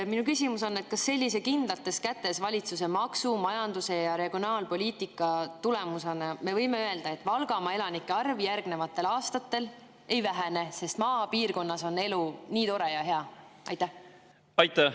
Minu küsimus on: kas me võime öelda, et sellise valitsuse kindlates kätes oleva maksu-, majandus- ja regionaalpoliitika tulemusena Valgamaa elanike arv järgnevatel aastatel ei vähene, sest maapiirkonnas on elu nii tore ja hea?